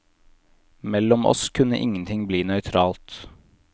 Mellom oss kunne ingenting bli nøytralt.